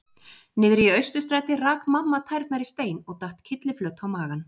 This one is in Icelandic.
Niðri í Austurstræti rak mamma tærnar í stein og datt kylliflöt á magann.